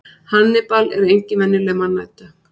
hannibal er engin venjuleg mannæta